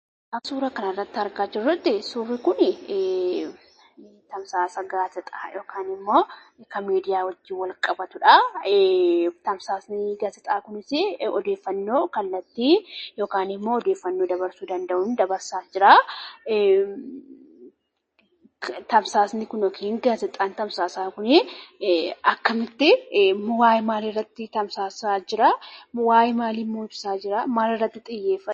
Akka suura kana irratti argaa jirrutti, suurri kun tamsaasa gaazexaa yookaan immoo kan miidiyaa wajjin wal qabatuudha. Tamsaasni gaazaxaa kunis odeeffannoo kallattii yookaan immoo odeeffannoo dabarsuu danda'uun dabarsaa jira. Tamsaasni kun yookiin gaazexaan tamsaasaa kun akkamitti, waa'ee maalii irratti dabarsaa jira? Waa'ee maalii immoo ibsaa jira? Maal irratti xiyyeeffata?